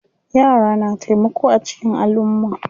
Yara na taimako a cikin alumma.